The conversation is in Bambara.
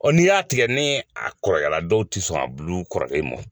n'i y'a tigɛ ne a kɔrɔyala dɔw ti sɔn a bulu kɔrɔlen mɔ.